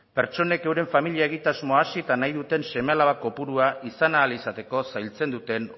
pertsonek euren familia egitasmoa hasi eta nahi duten seme alaba kopurua izan ahal izateko zailtzen duten